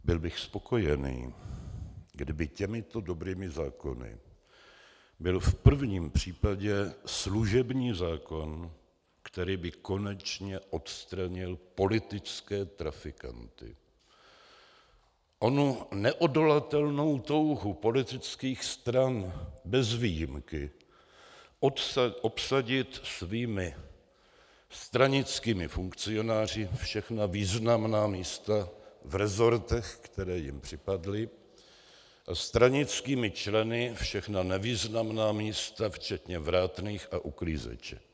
Byl bych spokojený, kdyby těmito dobrými zákony byl v prvním případě služební zákon, který by konečně odstranil politické trafikanty, onu neodolatelnou touhu politických stran bez výjimky obsadit svými stranickými funkcionáři všechna významná místa v resortech, které jim připadly, a stranickými členy všechna nevýznamná místa včetně vrátných a uklízeček.